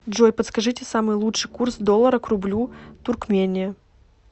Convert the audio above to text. джой подскажите самый лучший курс доллара к рублю туркмения